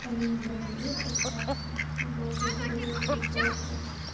а я не говорила просраться вот я говорила про тёрки